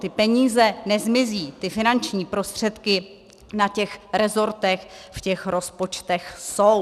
Ty peníze nezmizí, ty finanční prostředky na těch resortech v těch rozpočtech jsou.